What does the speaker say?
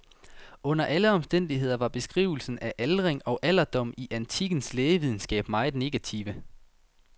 Under alle omstændigheder var beskrivelserne af aldring og alderdom i antikkens lægevidenskab meget negative.